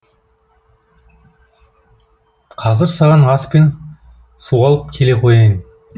қазір саған ас пен суалып келе қояйын